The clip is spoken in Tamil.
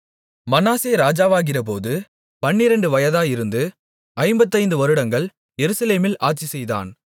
மனாசே ராஜாவாகிறபோது பன்னிரண்டு வயதாயிருந்து ஐம்பத்தைந்து வருடங்கள் எருசலேமில் ஆட்சிசெய்தான்